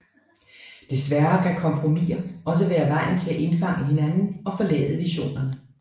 Desværre kan kompromiser også være vejen til at indfange hinanden og forlade visionerne